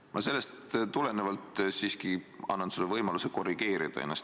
Ma annan sellest tulenevalt sulle siiski võimaluse ennast korrigeerida.